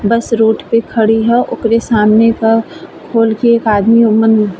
बस road पे खड़ी ह। ओकरे सामने का खोल के एक आदमी ओम्मन --